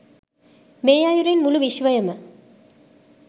මේ අයුරින් මුළු විශ්වයම